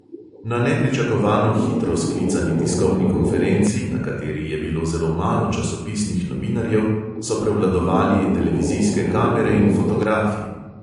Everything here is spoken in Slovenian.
Na nepričakovano hitro sklicani tiskovni konferenci, na kateri je bilo zelo malo časopisnih novinarjev, so prevladovali televizijske kamere in fotografi.